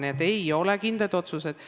Nii et ei ole kindlaid otsuseid.